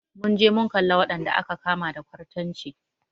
Mun je mun kalla wadanda aka kama da kwartanci.